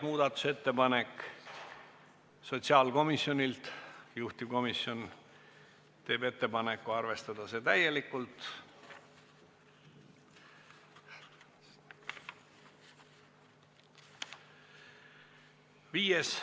Muudatusettepanek nr 4 on sotsiaalkomisjonilt, juhtivkomisjon teeb ettepaneku arvestada seda täielikult.